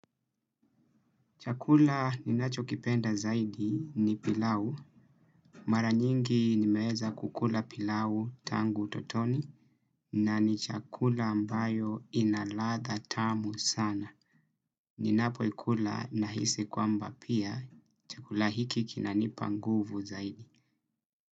Chakula ninacho kipenda zaidi ni pilau. Mara nyingi nimeeza kukula pilau tangu utotoni na ni chakula ambayo inalatha tamu sana. Ninapo ikula nahisi kwamba pia chakula hiki kinanipa nguvu zaidi.